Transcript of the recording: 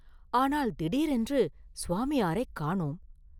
ஆனால் திடீரென்று சுவாமியாரைக் காணோம்!